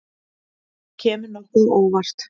Þetta kemur nokkuð á óvart.